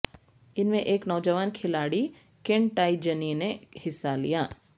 ان میں ایک نوجوان کھلاڑی کن ٹائی جنی نے حصہ لیا